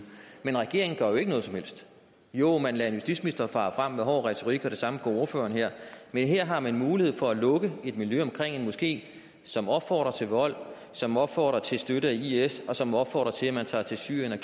men regeringen gør jo ikke noget som helst jo man lader en justitsminister fare frem med hård retorik og det samme gør ordføreren her men her har man en mulighed for at lukke et miljø omkring en moské som opfordrer til vold som opfordrer til støtte af is og som opfordrer til at tage til syrien og